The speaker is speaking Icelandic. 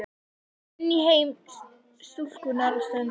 Inn í heim stúlkunnar á ströndinni.